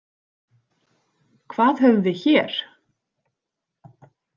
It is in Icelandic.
Hvað höfum við hér?